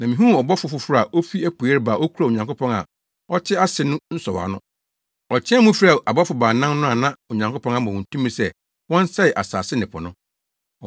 Na mihuu ɔbɔfo foforo a ofi apuei reba a okura Onyankopɔn a ɔte ase no nsɔwano. Ɔteɛɛ mu frɛɛ abɔfo baanan no a na Onyankopɔn ama wɔn tumi sɛ wɔnsɛe asase ne po no.